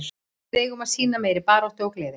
Við eigum að sýna meiri baráttu og gleði.